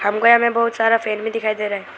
हमको यहां में बहुत सारा फैमिली दिखाई दे रहा है।